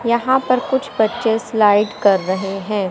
यहाँ पर कुछ बच्चे स्लाइड कर रहे हैं।